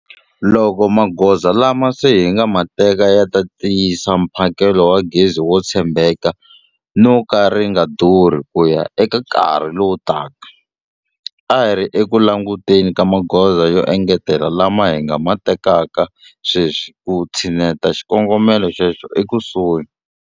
Loko magoza lama se hi nga ma teka ya ta tiyisa mphakelo wa gezi wo tshembeka no ka ri nga durhi ku ya eka nkarhi lowutaka, a hi ri eku languteni ka magoza yo engetela lama hi nga ma tekaka sweswi ku tshineta xikongomelo xexo ekusuhi.